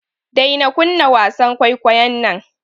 Daina kunna wasan kwaikwayon nan.